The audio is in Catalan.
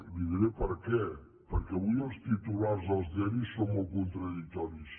i li diré perquè perquè avui els titulars als diaris són molt contradictoris